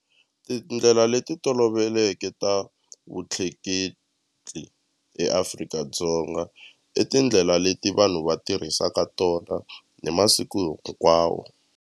Tindlela leti toloveleke ta vutleketli eAfrika-Dzonga i tindlela leti vanhu va tirhisaka tona hi masiku hinkwawo.